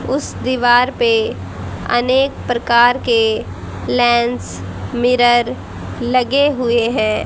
उस दीवार पे अनेक प्रकार के लेंस मिरर लगे हुए है।